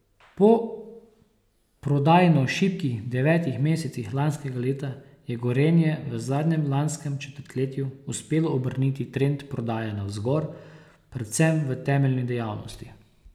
Po prodajno šibkih devetih mesecih lanskega leta je Gorenje v zadnjem lanskem četrtletju uspelo obrniti trend prodaje navzgor, predvsem v temeljni dejavnosti.